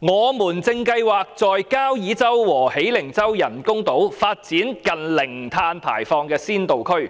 我們正計劃在交椅洲和喜靈洲人工島發展近零碳排放的先導區。